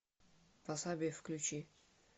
васаби включи